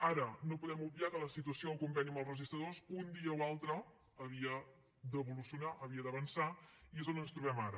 ara no podem obviar que la situació del conveni amb els registradors un dia o altre havia d’evolucionar havia d’avançar i és on ens trobem ara